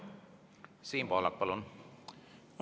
Siim Pohlak, palun!